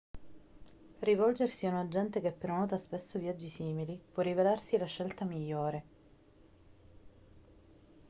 rivolgersi a un agente che prenota spesso viaggi simili può rivelarsi la scelta migliore